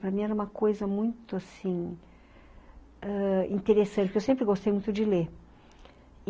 Para mim era uma coisa muito, assim ãh... Interessante, porque eu sempre gostei muito de ler.